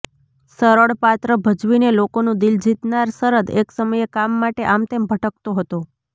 સરળ પાત્ર ભજવીને લોકોનું દિલ જીતનાર શરદ એક સમયે કામ માટે આમતેમ ભટકતો હતો